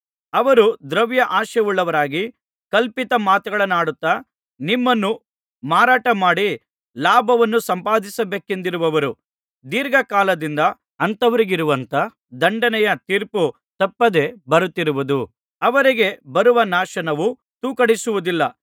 ಅವರು ದ್ರವ್ಯಾಶೆಯುಳ್ಳವರಾಗಿ ಕಲ್ಪಿತ ಮಾತುಗಳನ್ನಾಡುತ್ತಾ ನಿಮ್ಮನ್ನು ಮಾರಾಟಮಾಡಿ ಲಾಭವನ್ನು ಸಂಪಾದಿಸಬೇಕೆಂದಿರುವರು ಧೀರ್ಘಕಾಲದಿಂದ ಅಂಥವರಿಗಿರುವಂಥ ದಂಡನೆಯ ತೀರ್ಪು ತಪ್ಪದೆ ಬರುತ್ತಿರುವುದು ಅವರಿಗೆ ಬರುವ ನಾಶವು ತೂಕಡಿಸುವುದಿಲ್ಲ